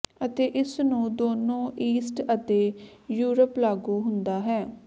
ਅਤੇ ਇਸ ਨੂੰ ਦੋਨੋ ਈਸਟ ਅਤੇ ਯੂਰਪ ਲਾਗੂ ਹੁੰਦਾ ਹੈ